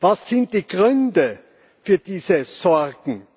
Was sind die Gründe für diese Sorgen?